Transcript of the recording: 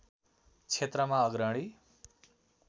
क्षेत्रमा अग्रणी